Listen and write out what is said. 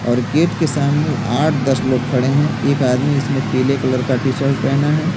और गेट के सामने आठ दस लोग खड़े हैं एक आदमी इसमें पीले कलर का टी-शर्ट पहना है।